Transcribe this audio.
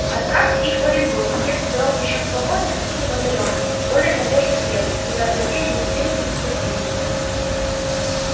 отправьте их в оренбург если дорога ещё свободна или в отдалённую более надёжную крепость куда злодеи не успели бы достигнуть